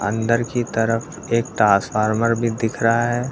अंदर की तरफ एक टासफार्मर भी दिख रहा है।